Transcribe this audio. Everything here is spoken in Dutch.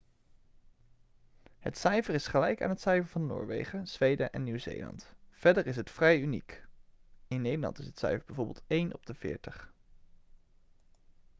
het cijfer is gelijk aan het cijfer van noorwegen zweden en nieuw-zeeland. verder is het vrij uniek in nederland is het cijfer bijvoorbeeld één op veertig